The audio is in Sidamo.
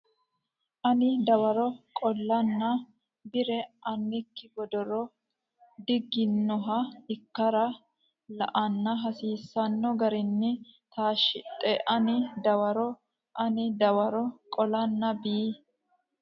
ani dawaro qolanna Bi re annikki gondooro diiginoha ikkara la ine hasiisanno garinni taashshidhe ani dawaro ani dawaro qolanna Bi.